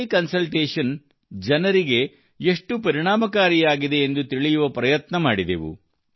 tele consultation ಜನರಿಗೆ ಎಷ್ಟು ಪರಿಣಾಮಕಾರಿಯಾಗಿದೆ ಎಂದು ತಿಳಿಯುವ ಪ್ರಯತ್ನ ಮಾಡಿದೆವು